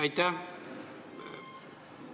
Aitäh!